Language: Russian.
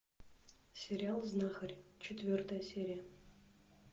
сериал знахарь четвертая серия